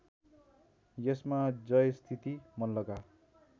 यसमा जयस्थिति मल्लका